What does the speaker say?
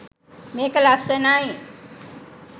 මේක ලස්සනයි